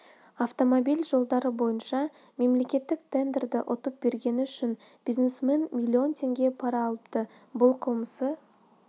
автомобиль жолдары бойынша мемлекеттік тендерді ұтып бергені үшін бизнесменнен миллион теңге пара алыпты бұл қылмысы